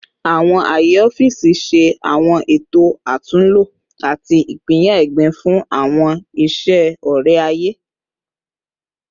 Awọn aaye ọfiisi ṣe awọn eto atunlo ati ipinya egbin fun awọn iṣe ọrẹ-aye